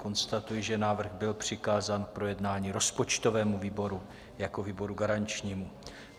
Konstatuji, že návrh byl přikázán k projednání rozpočtovému výboru jako výboru garančnímu.